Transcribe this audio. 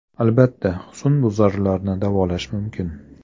Albatta, husnbuzarlarni davolash mumkin.